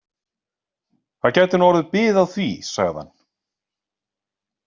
Það gæti nú orðið bið á því, sagði hann.